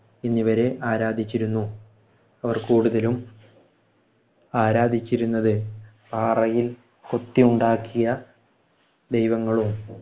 എന്നിവരെ ആരാധിച്ചിരുന്നു. അവർ കൂടുതലും ആരാധിച്ചിരുന്നത് പാറയിൽ കൊതിണ്ടാക്കിയ ദൈവങ്ങളും